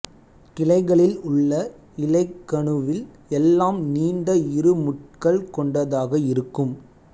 கிளைகளில் உள்ள இலைக் கணுவில் எல்லாம் நீண்ட இரு முட்கள் கொண்டதாக இருக்கும்